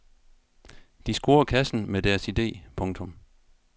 De scorer kassen med deres idè. punktum